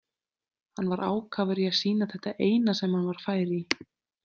Hann var ákafur í að sýna þetta eina sem hann var fær í.